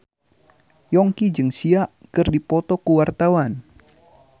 Yongki jeung Sia keur dipoto ku wartawan